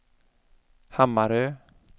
Hammarö